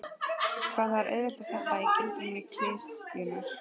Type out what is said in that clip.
Hvað það er auðvelt að falla í gildrur klisjunnar.